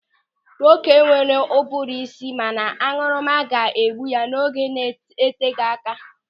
Nwoke nwere ụbụrụ isi mana añụrụma ga-egbu ya n'oge na-eteghị aka.